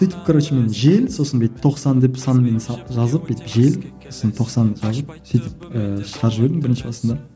сөйтіп короче мен жел сосын бүйтіп тоқсан деп санмен жазып бүйтіп жел сосын тоқсан жазып сөйтіп ііі шығарып жібердім бірінші басында